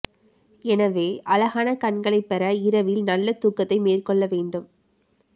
எனவே அழகான கண்களைப் பெற இரவில் நல்ல தூக்கத்தை மேற்கொள்ள வேண்டும்